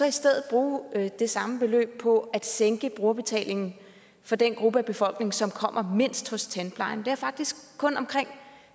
i stedet bruge det samme beløb på at sænke brugerbetalingen for den gruppe af befolkningen som kommer mindst hos tandplejen det er faktisk kun omkring